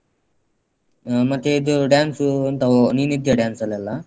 ಹ್ಮ್ ಮತ್ತೆ ಇದು dance ಎಂತ ನೀನಿದ್ದೀಯ dance ಅಲ್ಲೆಲ್ಲ?